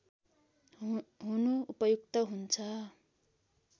हुनु उपयुक्त हुन्छ